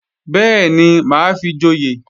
Bẹ́ẹ̀ni, mà á fi joyè